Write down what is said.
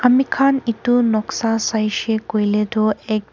Ami khan etu noksa saishe koile tuh ek--